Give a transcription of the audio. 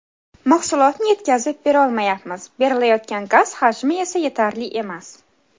Mahsulotni yetkazib berolmayapmiz, berilayotgan gaz hajmi esa yetarli emas.